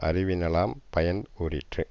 அறிவினலாம் பயன் கூறிற்று